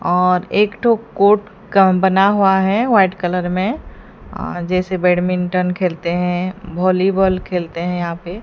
और एक ठू कोर्ट का बना हुआ है वाइट कलर में जैसे बैडमिंटन खेलते हैं वॉलीबॉल खेलते हैं यहां पे--